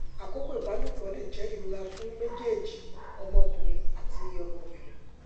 akọkọ ibalopo le jẹ irora fun mejeeji ọmọkunrin ati ọmọbirin